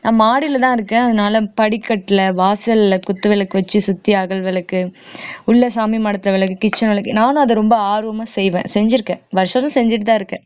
நான் மாடியிலதான் இருக்கேன் அதனால படிக்கட்டுல வாசல்ல குத்துவிளக்கு வச்சு சுத்தி அகல்விளக்கு உள்ள சாமி மடத்துல விளக்கு kitchen விளக்கு நானும் அத ரொம்ப ஆர்வமா செய்வேன் செஞ்சிருக்கேன் வருசமும் செஞ்சுட்டுதான் இருக்கேன்